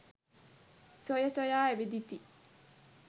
සොයසොයා ඇවිදිති.